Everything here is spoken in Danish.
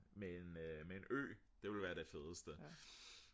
med en ø det ville være det fedeste